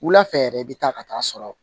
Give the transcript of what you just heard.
Wula fɛ yɛrɛ i bɛ taa ka taa'a sɔrɔ